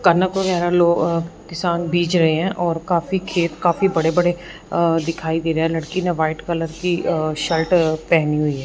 कनक वगैरा लो अ किसान बीज रहे हैं और काफी खेत काफी बड़े बड़े अ दिखाई दे रहे है लड़की ने व्हाइट कलर की शर्ट पहनी हुई है।